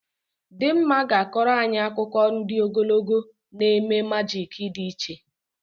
Dimma ga-akọrọ anyị akụkọ ndị ogologo na eme majik dị iche